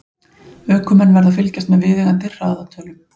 Ökumenn verða að fylgjast með viðeigandi hraðatölum.